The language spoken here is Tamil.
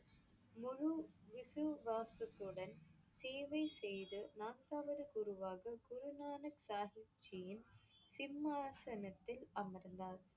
முழு விசுவாசத்துடன் சேவை செய்து நான்காவது குருவாகக் குரு நானக் சாஹிப் ஜியின் சிம்மாசனத்தில் அமர்ந்தார்.